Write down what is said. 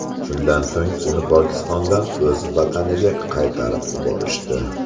Shundan so‘ng uni Pokistondan o‘z vataniga qaytarib yuborishdi.